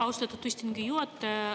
Austatud istungi juhataja!